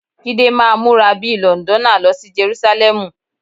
Jídé máa múra bí i Lọ̀ǹdọ́nà lọ sí Jerúsálẹ́mù.